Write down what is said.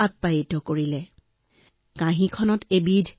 ৰজা উৎসাহিত হৈ সামান্য জিভাত ললে